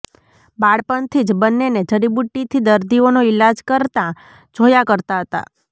બાળપણથી જ બન્નેને જડીબુટ્ટી થી દર્દીઓનો ઈલાજ કરતા જોયા કરતા હતા